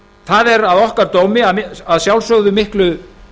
það er að okkar dómi að sjálfsögðu miklu